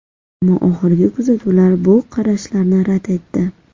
Ammo oxirgi kuzatuvlar bu qarashlarni rad etdi.